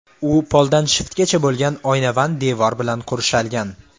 U poldan shiftgacha bo‘lgan oynavand devor bilan qurshalgan.